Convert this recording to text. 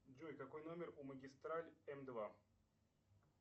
джой какой номер у магистраль м два